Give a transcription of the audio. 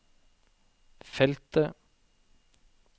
feltet